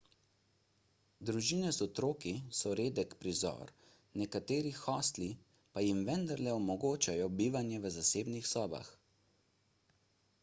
družine z otroki so redek prizor nekateri hostli pa jim vendarle omogočajo bivanje v zasebnih sobah